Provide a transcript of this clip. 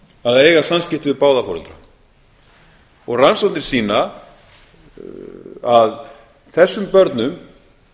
að eiga samskipti við báða foreldra rannsóknir sýna að þessum börnum